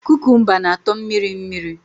Kukumba na atọ mmiri mmiri